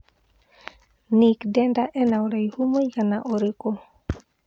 Nick Denda ena ũraihu mũigana ũrikũ